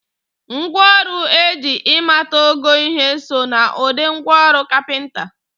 Ngwa ọrụ eji ịmata ogo ihe so n'ụdị ngwa ọrọ kapịnta